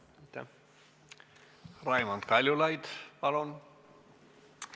Raimond Kaljulaid, palun!